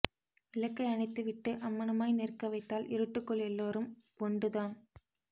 விளக்கை அனைத்து விட்டு அம்மணமாய் நிற்க வைத்தால் இருட்டுக்குள் எல்லோரும் ஒன்டு தான்